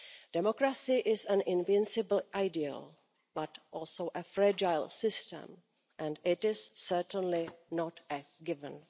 Democracy is an invincible ideal, but also a fragile system and it is certainly not a given.